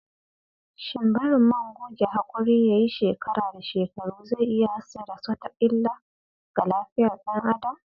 Shin barin man goge hakuri yayi shekara da shekaru zai iya haddasa wata illa ga lafiyar "yan adam?